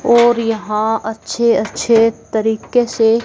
और यहां अच्छे अच्छे तरीके से--